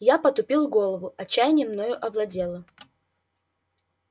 я потупил голову отчаяние мною овладело